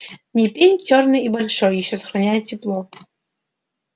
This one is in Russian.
не пень чёрный и большой ещё сохраняет тепло